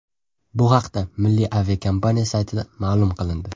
Bu haqda milliy aviakompaniya saytida ma’lum qilindi .